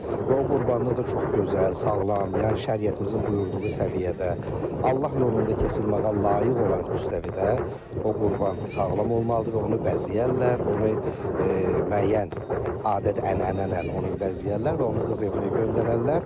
Və o qurbanlıq da çox gözəl, sağlam, yəni şəriətimizin buyurduğu səviyyədə, Allah yolunda kəsilməyə layiq olan müstəvidə o qurban sağlam olmalıdır və onu bəzəyərlər, onu müəyyən adət-ənənələrə, onu bəzəyərlər və onu qız evinə göndərərlər.